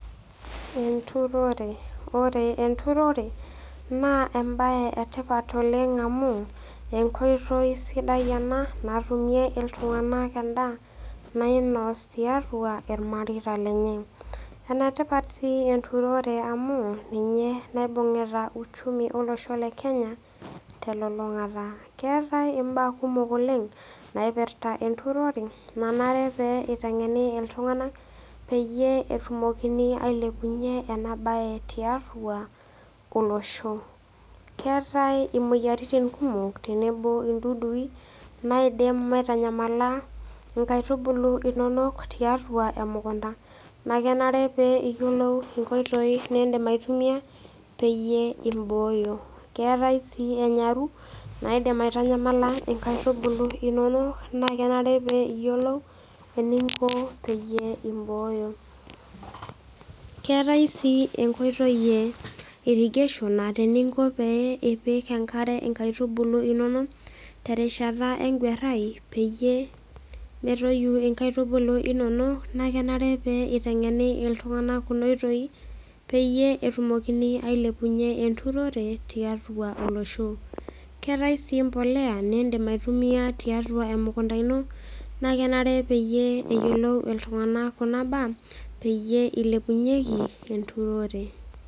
Enturore. Ore enturore naa embaye etipat oleng' enkoitoi sidai ena natumie iltung'anak endaa nainos tiatua ilmareita lenye. Enetipat sii enturore amu ninye naibung'ita  uchumi olosho le Kenya telulung'ata. Keetai imbaa kumok oleng' naipirta enturore nanare pee eiteng'eni iltung'ana peyie etumokini ailepunye enabaye tiatua olosho. Keetai imoyaritin kumok tenebo indudui naaidim aitanyamala inkaitubulu inonok tiatua emukunta nakenare pee iyiolou inkoitoi nindim aitumia peyie imbooyo. Keetai sii enyaru naaidim aitanyamala inkaitubulu inono naakenare pee iyiolou eninko peyie imbooyo. Keeta sii enkoitoi ye  irrigation [aa] teninko pee ipik enkare inkaitubulu inonok terishata enguarrai peyie metoyu inkaitubulu inonok naakenare pee eiteng'eni iltung'ana kunooitoi peyie etumokini ailepunye enturore tiatua olosho. Keetai sii mpolea nindim aitumia tiatua emukunta ino nakenare pee eyiolou iltung'anak kuna baa peyie eilepunyeki enturore.